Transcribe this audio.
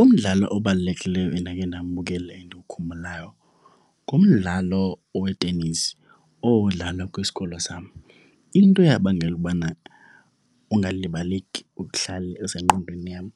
Umdlalo obalulekileyo endakhe ndambukela endiwukhumbulayo ngumdlalo owetenisi, owawudlalwa kwisikolo sam. Into eyabangela ukubana ungalibaleki, uhlale esengqondweni yam,